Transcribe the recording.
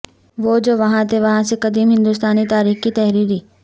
وہ جو وہاں تھے وہاں سے قدیم ہندوستانی تاریخ کی تحریری